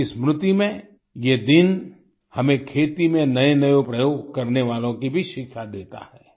उनकी स्मृति में ये दिन हमें खेती में नए नए प्रयोग करने वालो की भी शिक्षा देता है